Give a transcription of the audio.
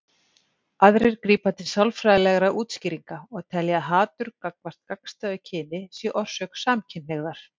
Aðrir grípa til sálfræðilegra útskýringa og telja að hatur gagnvart gagnstæðu kyni sé orsök samkynhneigðar.